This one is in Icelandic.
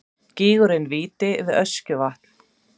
Gígurinn Víti við Öskjuvatn.